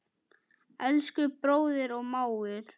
Elsku bróðir og mágur.